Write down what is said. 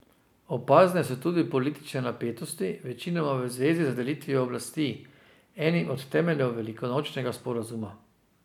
Opazne so tudi politične napetosti, večinoma v zvezi z delitvijo oblasti, enim od temeljev velikonočnega sporazuma.